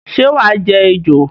Sé wàá je ejò?